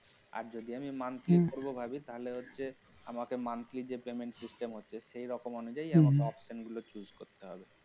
আর যদি আমি monthly করবো ভাবি তাহলে হচ্ছে আমাকে monthly যে payment system আছে সেইরকম অনুযায়ী হম হম আমাকে option গুলো choose করতে হবে